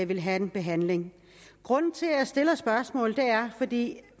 vil have en behandling grunden til at jeg stiller spørgsmålet er at vi